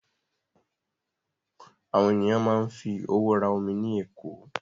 Àwọn ènìyàn máa ń fi owó rà omi ní ẹ̀kọ́.